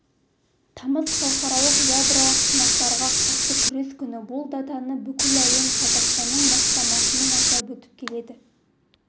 тамыз халықаралық ядролық сынақтарға қарсы күрес күні бұл датаны бүкіл әлем қазақстанның бастамасымен атап өтіп келеді